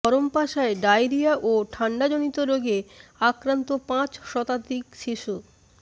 ধরমপাশায় diarrhoea ও ঠান্ডাজনিত রোগে আক্রান্ত পাঁচ শতাধিক শিশু